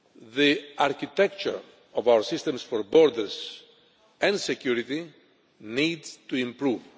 The architecture of our systems for borders and security needs to improve.